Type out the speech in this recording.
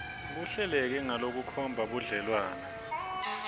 kuhleleke ngalokukhomba budlelwane